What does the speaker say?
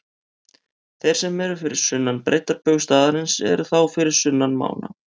Þeir sem eru fyrir sunnan breiddarbaug staðarins eru þá fyrir sunnan mána.